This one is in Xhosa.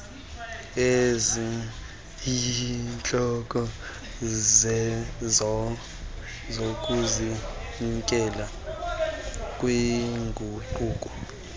eziyintloko zokuzinikezela kwinguqu